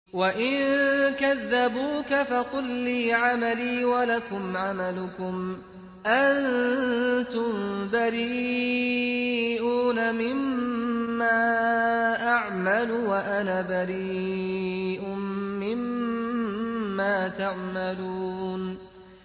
وَإِن كَذَّبُوكَ فَقُل لِّي عَمَلِي وَلَكُمْ عَمَلُكُمْ ۖ أَنتُم بَرِيئُونَ مِمَّا أَعْمَلُ وَأَنَا بَرِيءٌ مِّمَّا تَعْمَلُونَ